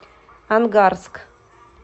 ангарск